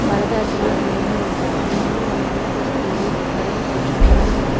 പല തരത്തിലുള്ള മീനുകൾ ഉണ്ട് മീനുകൾ വാങ്ങിക്കാൻ ഒരു സ്ത്രീയും നിറയെ പുരുഷന്മാരുമുണ്ട്.